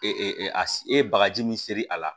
Ee a ye bagaji min seri a la